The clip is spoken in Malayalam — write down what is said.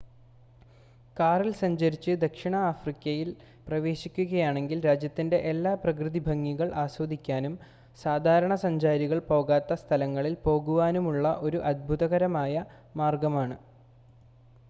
കാറിൽ സഞ്ചരിച്ച് ദക്ഷിണ ആഫ്രിക്കയിൽ പ്രവേശിക്കുകയാണെങ്കിൽ രാജ്യത്തിൻ്റെ എല്ലാ പ്രകൃതിഭംഗികൾ ആസ്വദിക്കാനും സാധാരണ സഞ്ചാരികൾ പോകാത്ത സ്ഥലങ്ങളിൽ പോകുവാനുമുള്ള ഒരു അത്ഭുതകരമായ മാർഗമാണ്